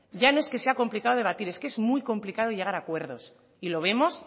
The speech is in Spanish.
ya no es que sea complicado debatir es que muy complicado llegar a acuerdos y lo vemos